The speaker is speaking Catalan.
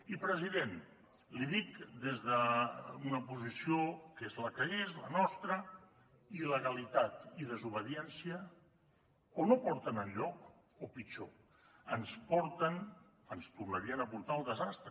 i president l’hi dic des d’una posició que és la que és la nostra il·legalitat i desobediència o no porten enlloc o pitjor ens porten ens tornarien a portar al desastre